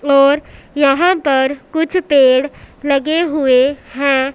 और यहां पर कुछ पेड़ लगे हुए हैं।